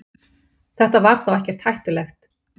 Þetta var þá ekkert hættulegt.